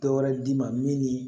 Dɔwɛrɛ d'i ma min ni